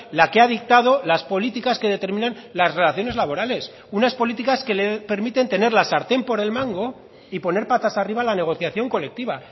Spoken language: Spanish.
la que ha dictado las políticas que determinan las relaciones laborales unas políticas que le permiten tener la sartén por el mango y poner patas arriba la negociación colectiva